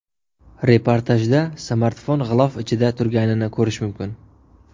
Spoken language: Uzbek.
Reportajda smartfon g‘ilof ichida turganini ko‘rish mumkin.